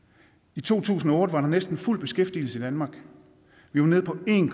i to tusind og var der næsten fuld beskæftigelse i danmark vi var nede på en